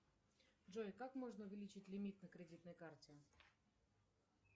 джой как можно увеличить лимит на кредитной карте